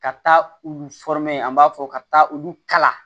Ka taa olu an b'a fɔ ka taa olu kala